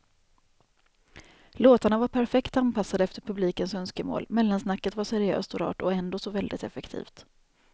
Låtarna var perfekt anpassade efter publikens önskemål, mellansnacket var seriöst och rart och ändå så väldigt effektivt.